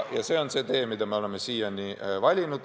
Ja see on see tee, mida mööda me oleme siiani käinud.